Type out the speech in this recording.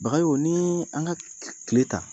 Bagayogo ni an ka tile ta